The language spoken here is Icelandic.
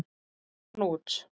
Ég rak hann út.